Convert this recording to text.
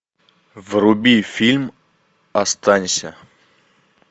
вруби фильм останься